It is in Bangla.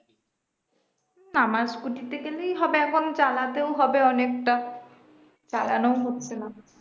আমার scooter তে গেলেই হবে এখন চালাতেও হবে অনেকটা চালানো ও হচ্ছে না